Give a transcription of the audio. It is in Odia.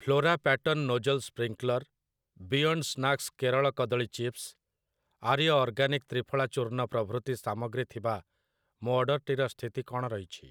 Flora pattern nozzle sprinkler', 'beyond snacks Kerala କଦଳୀ ଚିପ୍ସ', 'ଆର୍ୟ ଅର୍ଗାନିକ୍ ତ୍ରିଫଳା ଚୂର୍ଣ୍ଣ' ପ୍ରଭୃତି ସାମଗ୍ରୀ ଥିବା ମୋ ଅର୍ଡ଼ରଟିର ସ୍ଥିତି କଣ ରହିଛି ?